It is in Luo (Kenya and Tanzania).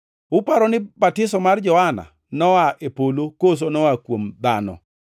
Uparo ni batiso mar Johana noa e polo koso noa kuom dhano?”